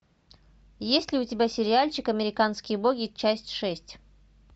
есть ли у тебя сериальчик американские боги часть шесть